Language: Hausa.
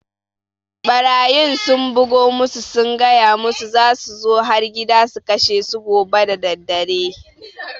Ɓarayin sun bugo musu sun gaya musu za su zo har gida su kashe su gobe daddare